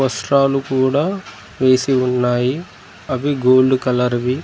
వస్త్రాలు కూడా వేసి ఉన్నాయి అవి గోల్డ్ కలర్ వి .